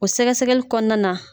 O sɛgɛsɛgɛli kɔɔna na